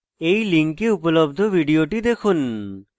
এই link উপলব্ধ video দেখুন